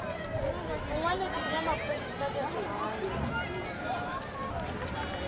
bongwaledi bja maphodisa bja segae